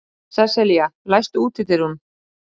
Sesselía, læstu útidyrunum.